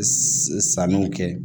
Sanuw kɛ